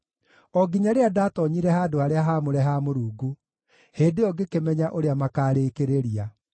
o nginya rĩrĩa ndatoonyire handũ-harĩa-haamũre ha Mũrungu; hĩndĩ ĩyo ngĩkĩmenya ũrĩa makaarĩkĩrĩria.